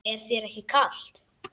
Er þér ekki kalt?